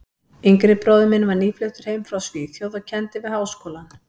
yngri bróðir minn var nýfluttur heim frá Svíþjóð og kenndi við Háskólann.